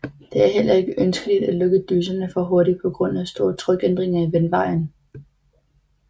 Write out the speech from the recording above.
Det er heller ikke ønskeligt at lukke dyserne for hurtig på grund af store trykændringer i vandvejen